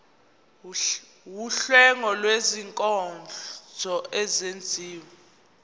wuhlengo lwezinkonzo ezenziwa